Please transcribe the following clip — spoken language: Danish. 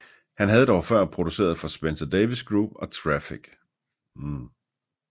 Han havde før produceret for Spencer Davis Group og Traffic